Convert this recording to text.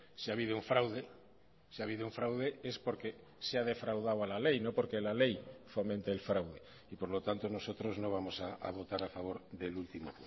si ha habido un fraude si ha habido un fraude es porque se ha defraudado a la ley no porque la ley fomente el fraude y por lo tanto nosotros no vamos a votar a favor del último